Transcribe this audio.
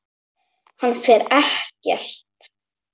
Hann fer ekkert.